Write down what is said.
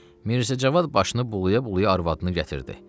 Mirzəcavad başını bulaya-bulaya arvadını gətirdi.